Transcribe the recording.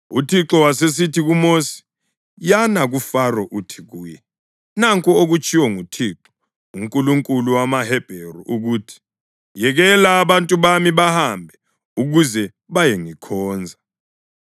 UThixo wasesithi kuMosi, “Yana kuFaro uthi kuye, ‘Nanku okutshiwo nguThixo, uNkulunkulu wamaHebheru, ukuthi, “Yekela abantu bami bahambe, ukuze bayengikhonza.”